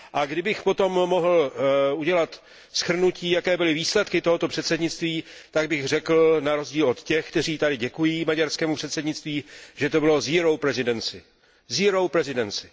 Kdybych potom mohl udělat shrnutí, jaké byly výsledky tohoto předsednictví, tak bych řekl na rozdíl od těch, kteří tady děkují maďarskému předsednictví, že to bylo zero presidency, zero presidency